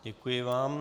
Děkuji vám.